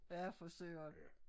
Ja for Søren